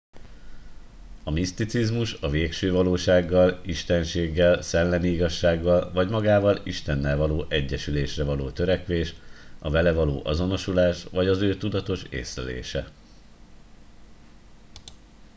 a miszticizmus a végső valósággal istenséggel szellemi igazsággal vagy magával istennel való egyesülésre való törekvés a vele való azonosulás vagy az ő tudatos észlelése